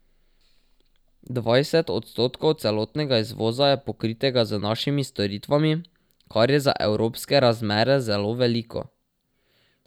Dvajset odstotkov celotnega izvoza je pokritega z našimi storitvami, kar je za evropske razmere zelo veliko.